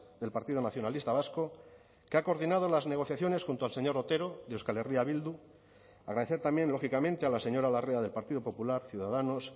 del partido nacionalista vasco que ha coordinado las negociaciones junto al señor otero de euskal herria bildu agradecer también lógicamente a la señora larrea del partido popular ciudadanos